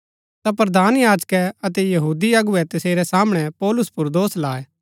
ता प्रधान याजकै अतै यहूदी अगुवै तसेरै सामणै पौलुस पुर दोष लाए